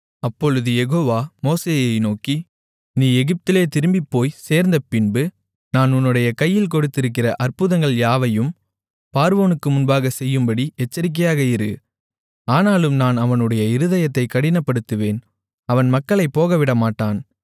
அப்பொழுது யெகோவா மோசேயை நோக்கி நீ எகிப்திலே திரும்பிப்போய்ச் சேர்ந்தபின்பு நான் உன்னுடைய கையில் கொடுத்திருக்கிற அற்புதங்கள் யாவையும் பார்வோனுக்கு முன்பாக செய்யும்படி எச்சரிக்கையாக இரு ஆனாலும் நான் அவனுடைய இருதயத்தைக் கடினப்படுத்துவேன் அவன் மக்களைப் போகவிடமாட்டான்